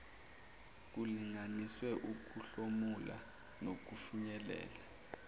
kulinganiswe ukuhlomula nokufinyelela